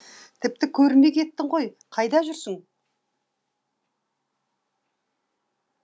тіпті көрінбей кеттің ғой қайда жүрсің